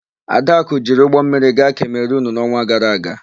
Adakụ jiri ụgbọmmiri gaa Kemerunu n'ọnwa gara aga.